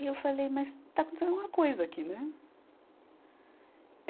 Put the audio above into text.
E eu falei, mas está acontecendo alguma coisa aqui, né?